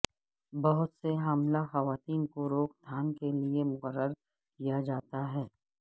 بہت سے حاملہ خواتین کو روک تھام کے لئے مقرر کیا جاتا ہے